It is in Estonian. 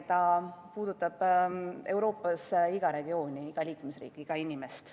See puudutab Euroopas iga regiooni, iga liikmesriiki, iga inimest.